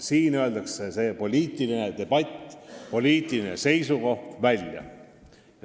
Siin öeldakse oma poliitilised seisukohad välja.